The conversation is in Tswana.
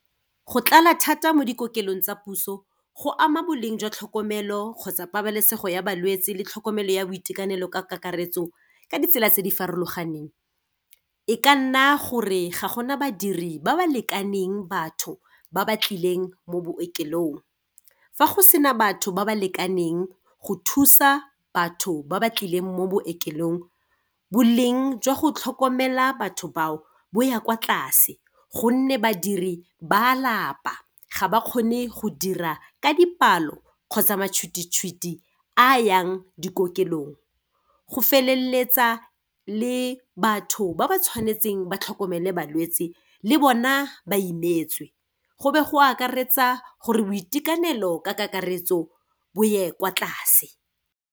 Go tlala thata mo dikokelong tsa puso, go ama boleng jwa tlhokomelo kgotsa pabalesego ya balwetse le tlhokomelo ya boitekanelo ka kakaretso ka ditsela tse di farologaneng, e ka nna gore ga gona badiri ba ba lekaneng batho ba ba tlileng mo bookelong. Fa go sena batho ba ba lekaneng go thusa batho ba ba tlileng mo bookelong, boleng jwa go tlhokomela batho bao bo ya kwa tlase gonne badiri ba a lapa, ga ba kgone go dira ka dipalo, kgotsa matshwititshwiti a yang dikokelong. Go feleletsa le batho ba ba tshwanetseng ba tlhokomele balwetsi le bona ba imetswe, go be go akaretsa gore boitekanelo ka kakaretso bo ye kwa tlase.